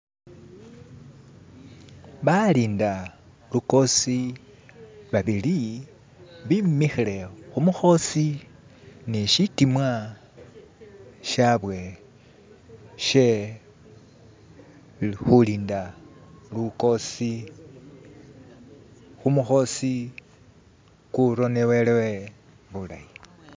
balinda lukhosi babili bimikhile khumukhosi ni shitimwa shabwe shee khulinda lukhosi khumukhosi khuronewele buulayi